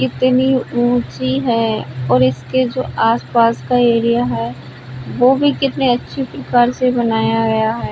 कितनी ऊंची है और इसके जो आस-पास का एरिया है वो भी कितने अच्छे प्रकार से बनाया गया है।